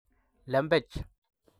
Lembech